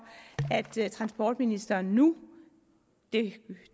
at transportministeren nu